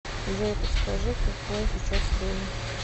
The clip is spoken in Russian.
джой подскажи какое сейчас время